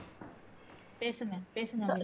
பேசுங்க பேசுங்க அபி